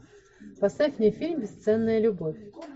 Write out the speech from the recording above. поставь мне фильм бесценная любовь